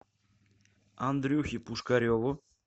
андрюхе пушкареву